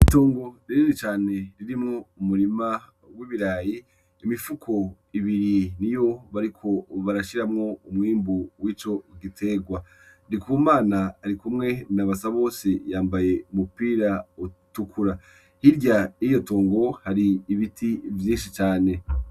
Itongo rinini cane ririmwo umurima w'ibirayi ,imifuko ibiri niyo bariko barashiramwo umwimbu wico giterwa. NDIKUMANA arikumwe na BASABOSE yambaye umupira utukura ,hirya yiryo tongo hari ibiti vyinshi cane.